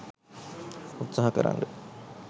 උත්සාහ කරන්න.